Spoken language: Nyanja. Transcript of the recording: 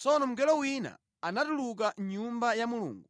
Tsono mngelo wina anatuluka mʼNyumba ya Mulungu